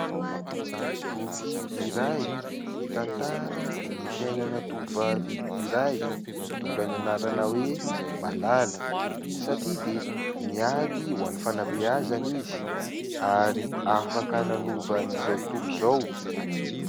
Boky iray mitantara ny fiainana tovovavy iray mitondra ny anarana hoe Malala satria dia niady ho an'ny fanabeazana izy ary afaka nanova an'izao tontolo izao.